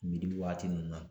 waati ninnu na